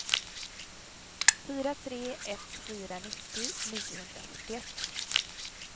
fyra tre ett fyra nittio niohundrafyrtioett